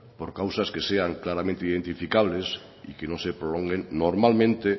por causas que sean claramente identificables y que no se prolonguen normalmente